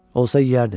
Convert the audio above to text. Olsa yeyərdin.